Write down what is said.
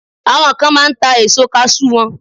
Àwọn kan máa ń ta èso kaṣú wọn